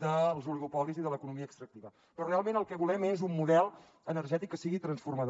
dels oligopolis i de l’economia extractiva però realment el que volem és un model energètic que sigui transformador